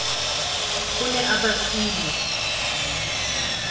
o ne a ba file